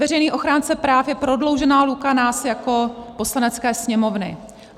Veřejný ochránce práv je prodloužená ruka nás jako Poslanecké sněmovny.